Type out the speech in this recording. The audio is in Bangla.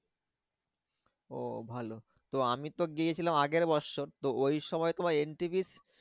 ও ভালো তো আমি তো গিয়েছিলাম আগের বছর তো ওই সময় তোমার entry free